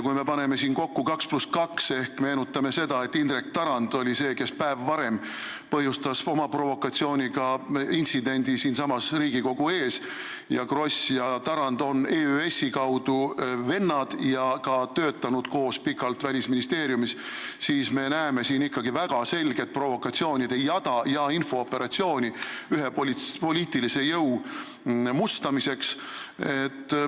Kui me paneme kokku 2 + 2 ehk meenutame seda, et Indrek Tarand oli see, kes päev varem põhjustas oma provokatsiooniga intsidendi siinsamas Riigikogu ees, ja seda, et Kross ja Tarand on EÜS-i kaudu vennad ja töötanud pikalt koos Välisministeeriumis, siis me näeme siin ikkagi väga selget provokatsioonide jada ja infooperatsiooni ühe poliitilise jõu mustamiseks.